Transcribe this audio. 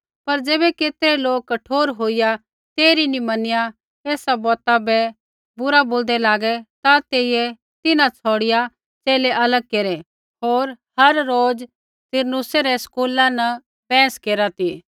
पर ज़ैबै केतरै लोक कठोर होईया तेइरी नी मैनिया एसा बौता बै बुरा बोलदै लागै ता तेइयै तिन्हां छ़ौड़िआ च़ेले अलग केरै होर हर रोज़ तुरन्नुसै रै स्कूला न बैहस केरा ती